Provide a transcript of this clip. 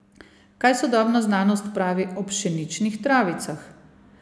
Kaj sodobna znanost pravi o pšeničnih travicah?